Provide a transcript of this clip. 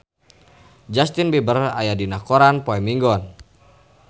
Justin Beiber aya dina koran poe Minggon